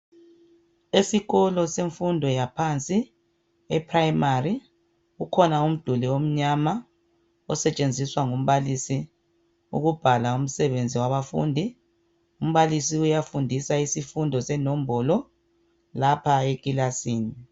Esikolo semfundo yaphansi e"primary"kukhona umduli omnyama osetshenziswa ngumbalisi ukubhala umsebenzi wabafundi umbalisi uyafundisa isifundo senombolo lapha ekilasini.